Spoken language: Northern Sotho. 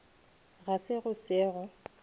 ga se go se go